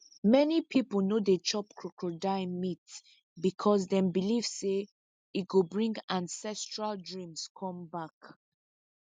many people no dey chop crocodile meat because them believe say e go bring ancestral dreams come back